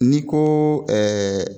N'i ko